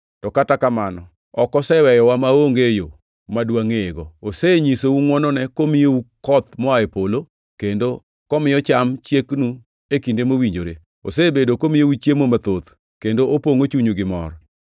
To kata kamano, ok oseweyowa maonge yo ma dwangʼeyego. Osenyisou ngʼwonone komiyou koth moa e polo, kendo komiyo cham chieknu e kinde mowinjore; osebedo komiyou chiemo mathoth kendo opongʼo chunyu gi mor.”